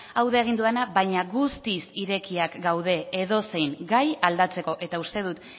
hau da egin dudana baina guztiz irekiak gaude edozein gai aldatzeko eta uste dut